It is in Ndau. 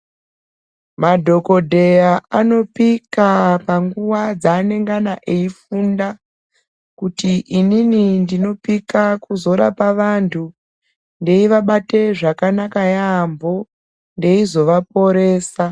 Madhokodheya anopika panguva dzanendana eifunda kuti inini ndinopika kuzorapa vantu veivabata zvakanaka yambo ndeizovaporesa.